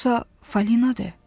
Yoxsa Falinadır?